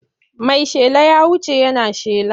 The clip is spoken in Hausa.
Mai shela ya wuce yana shela.